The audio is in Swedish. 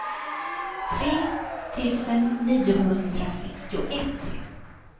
tre tusen niohundrasextioett